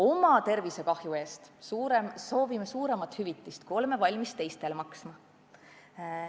Oma tervisekahju eest soovime suuremat hüvitist, kui oleme valmis teistele maksma.